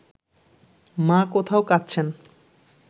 মা কোথাও কাঁদছেন